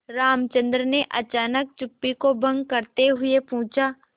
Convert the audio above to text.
रामचंद्र ने अचानक चुप्पी को भंग करते हुए पूछा